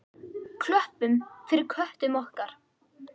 Klöppum fyrir köttum okkar!